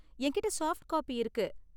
எங்கிட்ட soft copy இருக்கு.